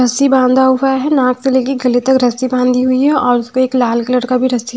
रस्सी बाँधा हुआ है नाक से ले के गले तक रस्सी बाँधी हुई है और उसपे एक लाल कलर का भी रस्सी--